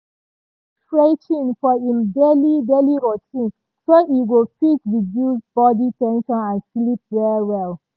e put stretching for im daily daily routine so e go fit reduce body ten sion and sleep well well.